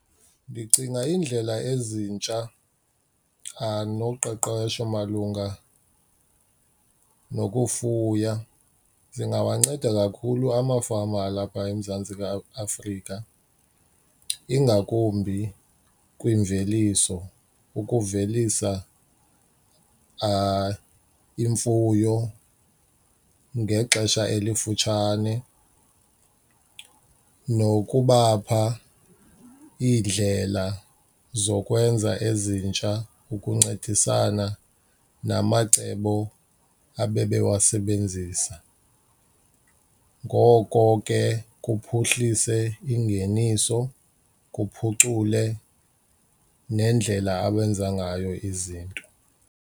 Ndicinga iindlela ezintsha noqeqesho malunga nokufuya zingawanceda kakhulu amafama alapha eMzantsi Afrika, ingakumbi kwimveliso. Ukuvelisa imfuyo ngexesha elifutshane nokubapha iindlela zokwenza ezintsha ukuncedisana namacebo abebewasebenzisa. Ngoko ke kuphuhlise ingeniso, kuphucule nendlela abenza ngayo izinto.